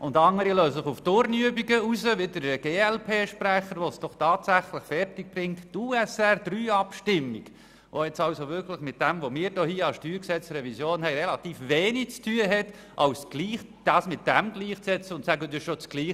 Die anderen lassen sich auf Turnübungen ein wie der glp-Sprecher, der es doch tatsächlich fertigbringt, die Abstimmung über USR III mit der vorliegenden StG-Revision gleich zu setzen und zu sagen, das sei ja dasselbe und nun könnten wir es noch einmal bringen.